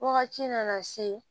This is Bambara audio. Wagati nana se